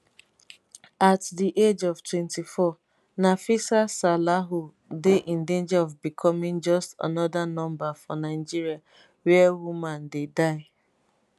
at di age of 24 nafisa salahu dey in danger of becoming just anoda number for nigeria wia woman dey die